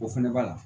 O fɛnɛ b'a la